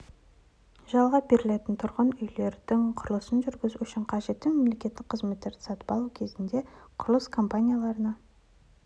жалға берілетін тұрғын үйлерді құрылысын жүргізу үшін қажетті мемлекеттік қызметтерді сатып алу кезінде құрылыс компанияларына